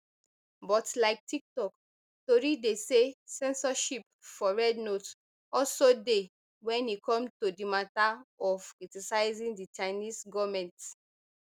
but like tiktok tori dey say censorship for rednote also dey wen e come to di mata of criticizing di chinese goment